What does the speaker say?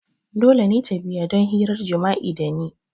Dole ne ta biya don hirar jima'i da ni!